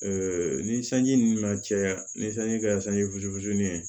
ni sanji nana caya ni sanji kɛra sanji fusu fitinin ye